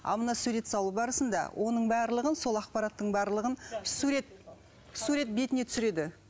ал мына сурет салу барысында оның барлығын сол ақпараттың барлығын сурет сурет бетіне түсіреді